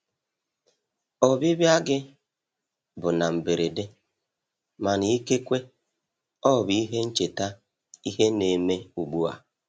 Ọbịbịa gị bụ na mberede, mana ikekwe ọ bụ ihe ncheta ihe ne me ugbua.